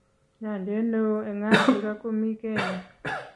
Nyanjet ne oo eng Afrika komii kenya